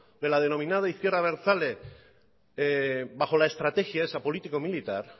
de la denominada izquierda abertzale bajo la estrategia esa político militar